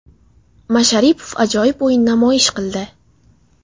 Masharipov ajoyib o‘yin namoyish qildi.